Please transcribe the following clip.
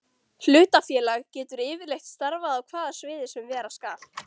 Hlutafélag getur yfirleitt starfað á hvaða sviði sem vera skal.